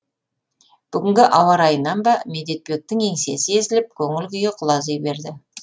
бүгінгі ауа райынан ба медетбектің еңсесі езіліп көңіл күйі құлази берді